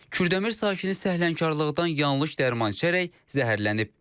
Kürdəmir sakini səhlənkarlıqdan yanlış dərman içərək zəhərlənib.